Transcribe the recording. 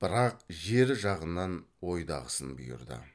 бірақ жер жағынан ойдағысын бұйырды